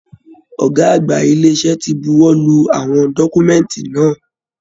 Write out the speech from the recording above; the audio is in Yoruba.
Ọgá àgbà ile-iṣẹ ti bùwọ́lù àwọn dọkumẹ̀nti náà.